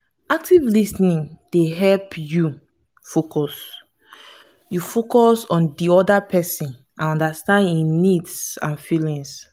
active lis ten ing dey help you focus you focus on di oda pesin and understand im needs and feelings.